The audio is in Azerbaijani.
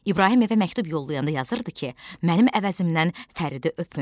İbrahim evə məktub yollayanda yazırdı ki, mənim əvəzimdən Fəridi öpün.